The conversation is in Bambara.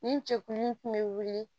Nin cɛkunun kun bɛ wuli